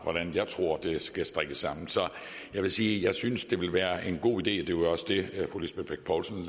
hvordan jeg tror det skal strikkes sammen jeg vil sige at jeg synes det ville være en god idé det var også det fru lisbeth bech poulsen